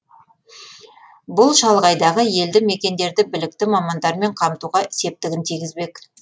бұл шалғайдағы елді мекендерді білікті мамандармен қамтуға септігін тигізбек